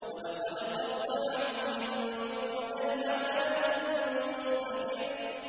وَلَقَدْ صَبَّحَهُم بُكْرَةً عَذَابٌ مُّسْتَقِرٌّ